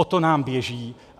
O to nám běží.